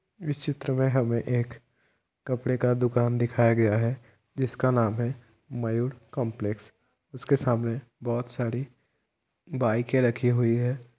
इस चित्र में हमें एक कपड़े का दुकान दिखाई गया है जिसका नाम है मयूर कॉम्प्लेक्स । उसके सामने बहुत सारी बाइके रखी हुई है।